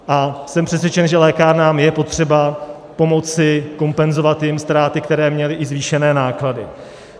A jsem přesvědčen, že lékárnám je potřeba pomoci, kompenzovat jim ztráty, které měly, i zvýšené náklady.